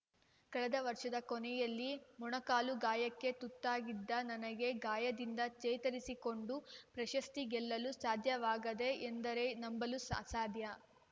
ಕಳೆದ ವರ್ಷದ ಕೊನೆಯಲ್ಲಿ ಮೊಣಕಾಲು ಗಾಯಕ್ಕೆ ತುತ್ತಾಗಿದ್ದ ನನಗೆ ಗಾಯದಿಂದ ಚೇತರಿಸಿಕೊಂಡು ಪ್ರಶಸ್ತಿ ಗೆಲ್ಲಲು ಸಾಧ್ಯವಾಗಿದೆ ಎಂದರೆ ನಂಬಲು ಅಸಾಧ್ಯ